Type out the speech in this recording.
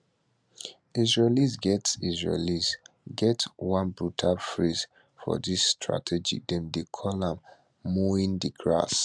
israelis get israelis get one brutal phrase for dis strategy dem dey call am mowing di grass